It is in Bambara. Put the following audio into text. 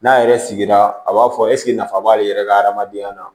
N'a yɛrɛ sigira a b'a fɔ eseke nafa b'ale yɛrɛ ka hadamadenya la